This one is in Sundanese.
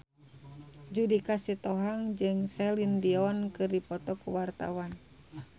Judika Sitohang jeung Celine Dion keur dipoto ku wartawan